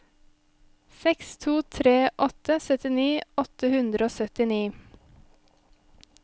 seks to tre åtte syttini åtte hundre og syttini